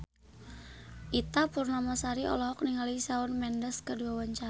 Ita Purnamasari olohok ningali Shawn Mendes keur diwawancara